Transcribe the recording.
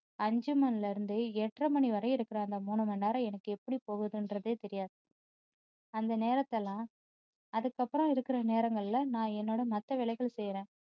அஞ்சு மணியில இருந்து எட்டரை மணி வரையில இருக்குற அந்த மூணு மணி நேரம் எனக்கு எப்படி போகுதுன்றதே தெரியாது அந்த நேரத்தை எல்லாம் அதுக்கப்பறம் இருக்குற நேரங்கள்ல நான் என்னோட மத்த வேலைகள் செய்றேன்